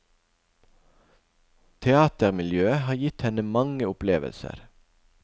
Teatermiljøet har gitt henne mange opplevelser.